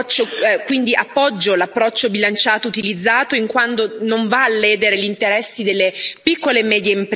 Quindi appoggio l'approccio bilanciato utilizzato, in quanto non va a ledere gli interessi delle piccole e medie imprese.